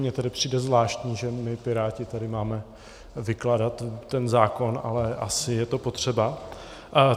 Mně tedy přijde zvláštní, že my Piráti tady máme vykládat ten zákon, ale asi je to potřeba.